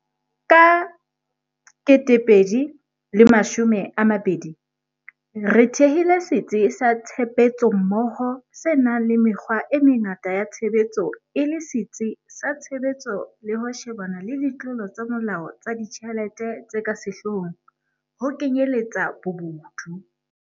Ka 2020, re thehile Setsi sa Tshebetsommoho se nang le mekgwa e mengata ya tshebetso e le setsi sa tshebetso le ho shebana le ditlolo tsa molao tsa ditjhelete tse ka sehlohlolong, ho kenyeletsa bobodu.